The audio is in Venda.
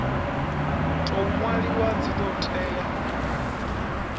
tou nwaliwaho dzi do tea